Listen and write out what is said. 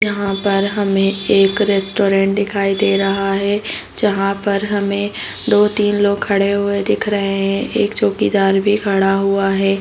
यहाँ पर हमें एक रेस्टॉरेंट दिखाई दे रहा है जहाँ पर हमें दो-तीन लोग खड़े हुए दिख रहे है। एक चौकीदार भी खड़ा हुआ है।